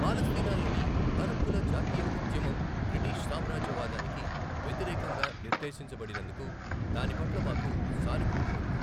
పాలస్తీనాలోని అరబ్బుల జాతీయ ఉద్యమం బ్రిటీష్ సామ్రాజ్యవాదానికి వ్యతిరేకంగా నిర్దేశించబడినందుకు దాని పట్ల మాకు సానుభూతి ఉంది.